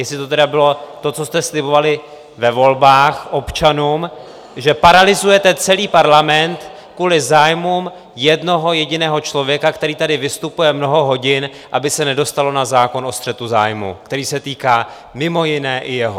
Jestli to tedy bylo to, co jste slibovali ve volbách občanům, že paralyzujete celý parlament kvůli zájmům jednoho jediného člověka, který tady vystupuje mnoho hodin, aby se nedostalo na zákon o střetu zájmů, který se týká mimo jiné i jeho.